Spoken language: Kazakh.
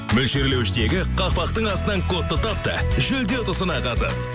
мөлшерлеуіштегі қақпақтың астыннан кодты тап та жүлде ұтысына қатыс